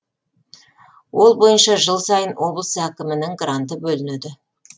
ол бойынша жыл сайын облыс әкімінің гранты бөлінеді